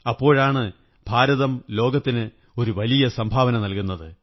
അപ്പോഴാണ് ഭാരതം ലോകത്തിന് ഒരു വലിയ സംഭാവന നല്കുന്നത്